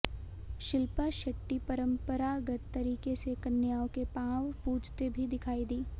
शिल्पा शेट्टी परंपरागत तरीके से कन्याओं के पांव पूजते भी दिखाई दीं